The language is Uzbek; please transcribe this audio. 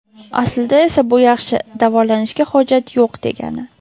Aslida esa bu yaxshi, davolanishga hojat yo‘q degani.